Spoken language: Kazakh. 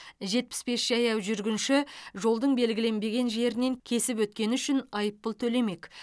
жетпіс бес жаяу жүргінші жолдың белгіленбеген жерінен кесіп өткені үшін айыппұл төлемек